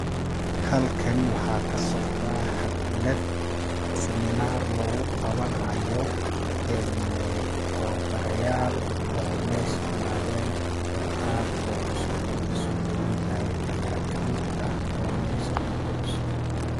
Halkan waxaa ka socdaa xaflad seminaar lugu qawanaayo en ee tawabarayaal oo mesha imaaden, dad qaar oo cusub oo lasoo daweynaayo ayaa kamid ah oo mesha kucusub.